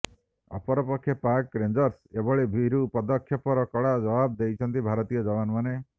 ଅପରପକ୍ଷେ ପାକ୍ ରେଞ୍ଜର୍ସଙ୍କ ଏଭଳି ଭୀରୁ ପଦକ୍ଷେପର କଡ଼ା ଜବାବ ଦେଇଛନ୍ତି ଭାରତୀୟ ଯବାନମାନେ